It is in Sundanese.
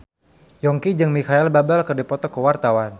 Yongki jeung Micheal Bubble keur dipoto ku wartawan